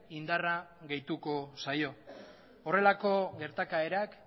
indarra gehituko zaio horrelako gertakaerak